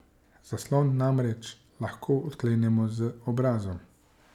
Zaslon namreč lahko odklenemo z obrazom.